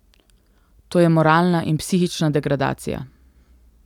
To je moralna in psihična degradacija.